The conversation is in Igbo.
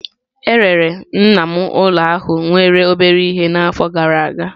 E rere nna m ụlọ ahụ nwere obere ihe n'afọ gara aga.